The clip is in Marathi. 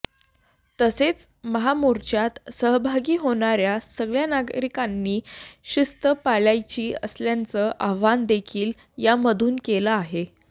तसेच महामोर्चात सहभागी होणाऱ्या सगळ्या नागरिकांनी शिस्त पाळायची असल्याचं आवाहन देखील यामधून केलं आहे